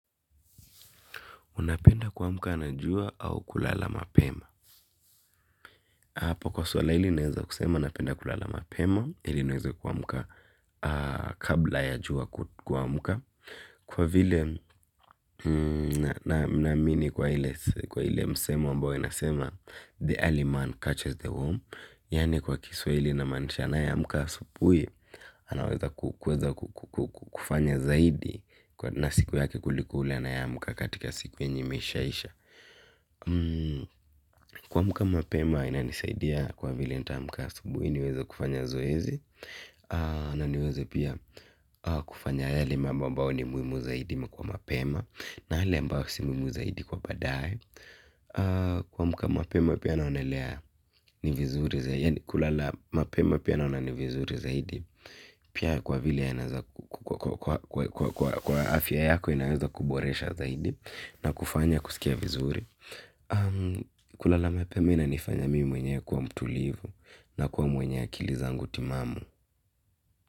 Unapenda kuamuka na jua au kulala mapema. Apo kwa swala ili naeza kusema napenda kulala mapema. Ili niweza kuamuka kabla ya jua kuamuka. Kwa vile namini kwa ile msomo ambayo inasema The early man catches the warm. Yani kwa kiswaili ina manisha anae amuka asupui. Anaweza kufanya zaidi na siku yake kuliko ule anaye amuka katika siku yenye imeshaisha. Kuamuka mapema ina nisaidia kwa vile nitamka asubui niweza kufanya zoezi. Na niweze pia kufanya yale mambo ambao ni muimu zaidi mkwa mapema. Na hali mbao si muimu zaidi kwa badae. Kuamuka mapema pia naonelea ni vizuri zaidi. Kulala mapema pia naonelea ni vizuri zaidi. Pia kwa vile ina za kwa afia yako inaweza kuboresha zaidi. Na kufanya kusikia vizuri kulala mapema inanifanya mimi mwenyewe kuwa mtulivu na kuwa mwenye akili zangu timamu.